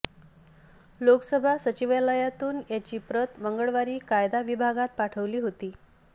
लोकसभा सचिवालयातून याची प्रत मंगळवारी कायदा विभागात पाठवली होती